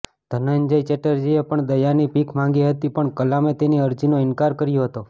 ધનંજય ચેટર્જીએ પણ દયાની ભીખ માંગી હતી પણ કલામે તેની અરજી નો ઇનકાર કર્યો હતો